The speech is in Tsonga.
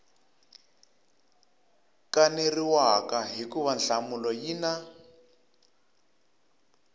kaneriwaka hikuva nhlamulo yi na